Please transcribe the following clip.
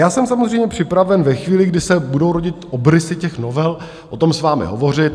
Já jsem samozřejmě připraven ve chvíli, kdy se budou rodit obrysy těch novel, o tom s vámi hovořit.